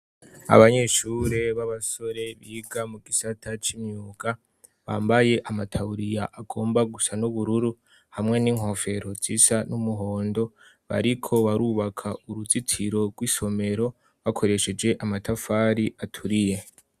Abanyeshure b'abasore biga mu gisata c'imyuka bambaye amataburiya agomba gusa n'ubururu hamwe n'inkofero zisa n'umuhondo; bariko barubaka uruzitiro rw'isomero bakoresheje amatafari aturiye.